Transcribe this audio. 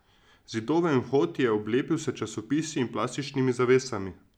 Zidove in vhod je oblepil s časopisi in plastičnimi zavesami.